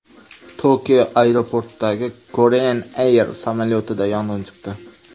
Tokio aeroportidagi Korean Air samolyotida yong‘in chiqdi.